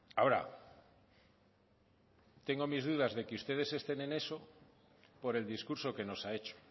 ahora tengo mis dudas de que ustedes estén en eso por el discurso que nos ha hecho